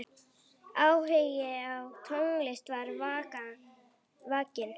Áhugi á tónlist var vakinn.